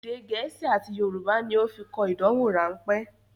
Èdè gẹ̀ẹ́sì àti Yorùbá ní ó fi kọ ìdánwò rán pẹ́